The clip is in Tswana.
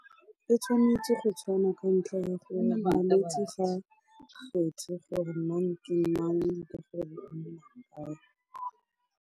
E tshwanetse go tshwana ka ntlha ya gore malwetsi ga a kgethe gore mang ke mang .